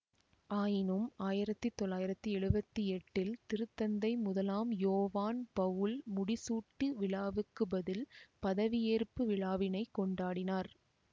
ஆயினும் ஆயிரத்தி தொள்ளாயிரத்தி எழுவத்தி எட்டில் திருத்தந்தை முதலாம் யோவான் பவுல் முடிசூட்டு விழாவுக்குப்பதில் பதவியேற்பு விழாவினைக்கொண்டாடினார்